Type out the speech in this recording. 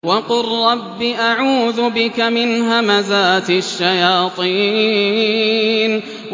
وَقُل رَّبِّ أَعُوذُ بِكَ مِنْ هَمَزَاتِ الشَّيَاطِينِ